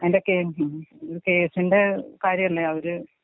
അതിന്റെ കേ കേസിന്റെ കാര്യല്ലേ അവര്.